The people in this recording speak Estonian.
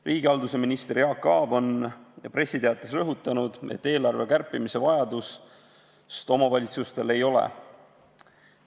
Riigihalduse minister Jaak Aab on pressiteates rõhutanud, et eelarve kärpimise vajadust omavalitsustel ei ole.